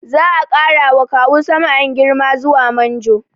Za a ƙara wa Kawu Sam'an girma zuwa manjo